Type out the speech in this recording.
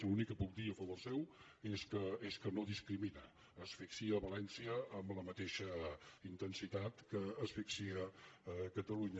l’únic que puc dir a favor seu és que no discrimina asfixia valència amb la mateixa intensitat que asfixia catalunya